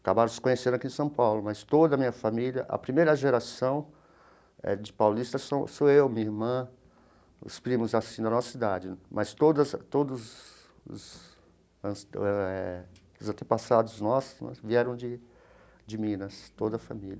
Acabaram se conhecendo aqui em São Paulo, mas toda a minha família, a primeira geração eh de paulistas sou sou eu, minha irmã, os primos assim da nossa idade, mas todas todos os as eh os antepassados nossos vieram de de Minas, toda a família.